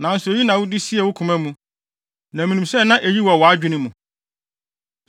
“Nanso eyi na wode siee wo koma mu, na minim sɛ na eyi wɔ wʼadwene mu.